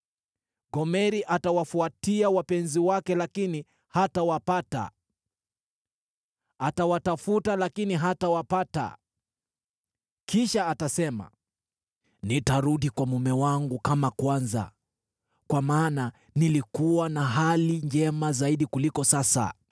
Gomeri atawafuatia wapenzi wake lakini hatawapata; atawatafuta lakini hatawapata. Kisha atasema, ‘Nitarudi kwa mume wangu kama kwanza, kwa maana nilikuwa na hali njema zaidi kuliko sasa.’